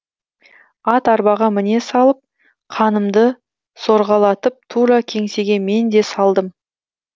ат арбаға міне салып қанымды сорғалатып тура кеңсеге мен де салдым